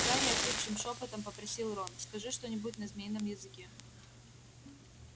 гарри охрипшим шёпотом попросил рон скажи что-нибудь на змеином языке